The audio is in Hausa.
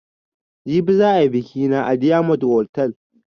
Jibi za ayi biƙi na a diyamond hotal